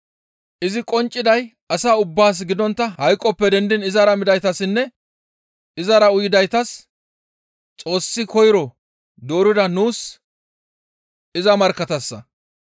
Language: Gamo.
Izi qoncciday asa ubbaas gidontta hayqoppe dendiin izara midaytassinne izara uyidaytas Xoossi koyro doorida nuus iza markkatassa.